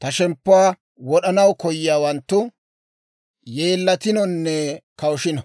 Ta shemppuwaa wod'anaw koyiyaawanttu, yeellatinonne kawushino;